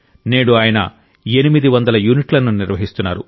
నేడు ఆయన 800 యూనిట్లను నిర్వహిస్తున్నారు